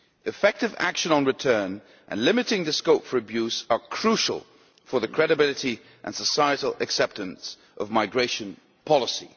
Effective action on return and limiting the scope for abuse are crucial for the credibility and societal acceptance of migration policy.